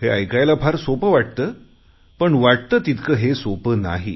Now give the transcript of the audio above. हे ऐकायला फार सोपे वाटते पण वाटते तितके हे सोपे नाही